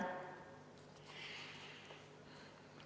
Jah, ma saan aru.